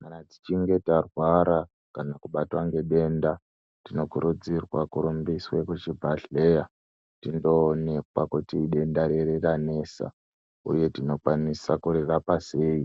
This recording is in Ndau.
Kana techinge tarwara kana kubatwa ngedenda tinokurudzirwa kurumbiswe kuchibhehleya tindoonekwa kuti idenda rei ranesa uye tinokwanisa kurirapa sei